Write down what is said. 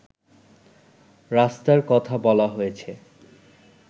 রাস্তার কথা বলা হয়েছে